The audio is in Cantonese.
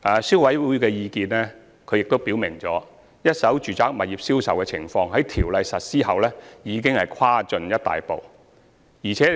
消委會表示，一手住宅物業銷售的情況在《條例》實施後已有大大改善。